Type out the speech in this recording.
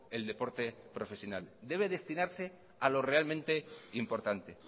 el deporte profesional debe destinarse a lo realmente importante